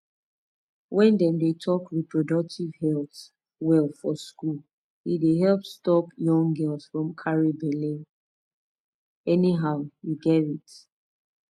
wey dem dey talk reproductive health well for school e dey help stop young girls from carry belle anyhow you gerrit